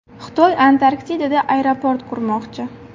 Xitoy Antarktidada aeroport qurmoqchi.